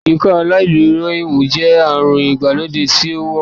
Ikọaláìdúró híhún jẹ́ àrùn ìgbàlódé tí ó wọ́pọ̀